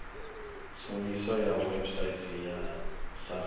tshumiso ya website ya sars